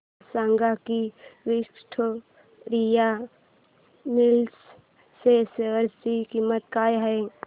हे सांगा की विक्टोरिया मिल्स च्या शेअर ची किंमत काय आहे